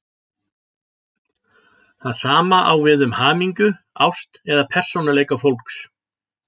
Það sama á við um hamingju, ást eða persónuleika fólks.